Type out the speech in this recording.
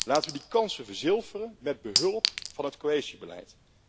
Laten we die kansen verzilveren met behulp van het cohesiebeleid.